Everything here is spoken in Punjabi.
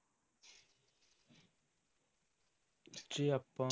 ਜੇ ਆਪਾਂ